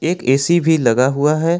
एक ए_सी भी लगा हुआ है।